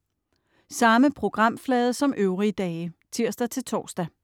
Samme programflade som øvrige dage (tirs-tors)